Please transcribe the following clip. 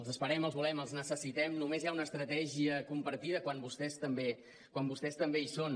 els esperem els volem els necessitem només hi ha una estratègia compartida quan vostès també hi són